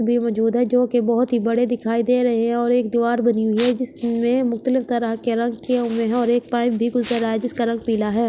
भी मौजूद है जो कि बहोत ही बड़े दिखाई दे रहे हैं और एक दीवार बनी हुई है जिसमें मुख्तलिफ तरह के रंग किये हुए हैं और एक पाइप भी गुजर रहा है जिसका रंग पीला है।